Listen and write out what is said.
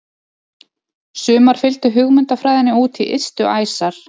Sumar fylgdu hugmyndafræðinni út í ystu æsar.